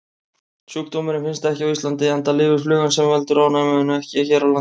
Sjúkdómurinn finnst ekki á Íslandi enda lifir flugan sem veldur ofnæminu ekki hér á landi.